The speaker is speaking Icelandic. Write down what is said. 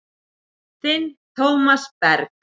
Þinn Tómas Berg.